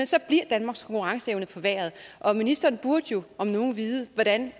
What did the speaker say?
så bliver danmarks konkurrenceevne forværret og ministeren burde jo om nogen vide hvordan